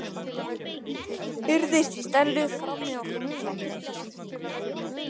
heyrðist í Stellu frammi á ganginum